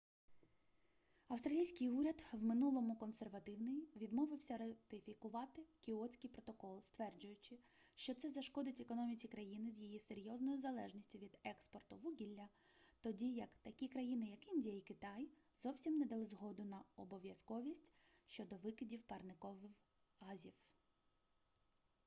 австралійський уряд в минулому консервативний відмовилося ратифікувати кіотський протокол стверджуючи що це зашкодить економіці країни з її серйозною залежністю від експорту вугілля тоді як такі країни як індія і китай зовсім не дали згоду на обов'язковість щодо викидів парникових газів